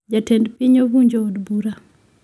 Jatend piny ovunjo od bura